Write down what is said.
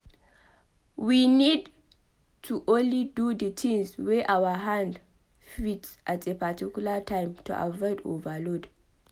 we need to only do di tins wey our hand fit at a particular time to avoid overload